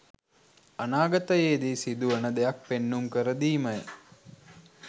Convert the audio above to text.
අනාගතයේදී සිදුවන දෙයක් පෙන්නුම් කර දීමය.